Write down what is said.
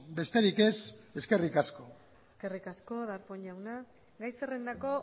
besterik ez eskerrik asko eskerrik asko darpón jauna gai zerrendako